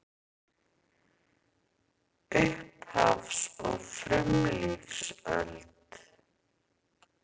Upphafs- og frumlífsöld